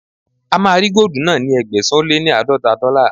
A máa ra góòdù náà ní Ẹgbẹ̀sán-ó-lé-láàdọ́ta dọ́là.